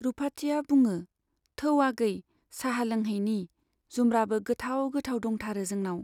रुपाथिया बुङो, थौ आगै चाहा लोंहैनि, जुमब्राबो गोथाव गोथाव दंथारो जोंनाव।